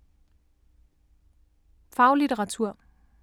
Faglitteratur